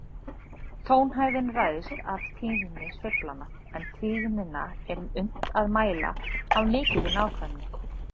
Tónhæðin ræðst af tíðni sveiflanna, en tíðnina er unnt að mæla af mikilli nákvæmni.